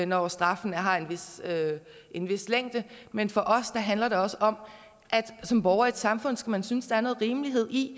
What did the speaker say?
når straffene har en en vis længde men for os handler det også om at som borger i et samfund skal man synes der er noget rimelighed i